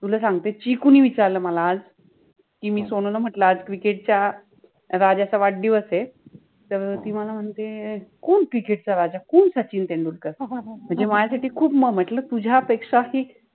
तुला सांगते जे कोणी विचारल मला आज कि मि सोनुला म्हंटल कि आज cricket च्या राजाचा वाढदिवस आहे तर ति मला म्हणते कोण cricket चा राजा, कोण सचिन तेंडुलकर, म्हणजे माझ्यासाठि खुप महत्त्व मि म्हंटल तुझ्यापेक्षा हि